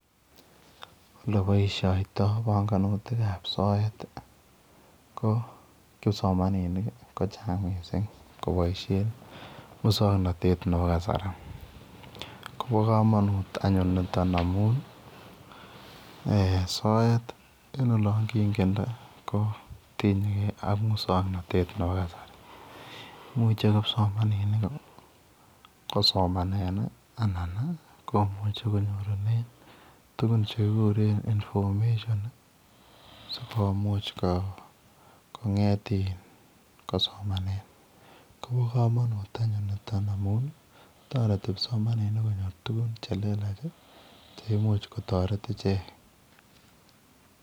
Olebaishoitoi banganutik ab soet KO kipsomaninik kochang mising kobaishen muswaknatet Nebo kasari Koba kamanut anyun niton amun soet en olongingende kotinye gei ak muswaknatet Nebo kasari imuche kipsomaninik kosomanen anan komuche kenyorunen tuguk chekikuren sikomuch konget kosomanen Koba kamanut niton amun tareti kipsomaninik konyor tuguk chelelach cheimuch kotaret icheket